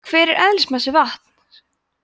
hver er eðlismassi vatns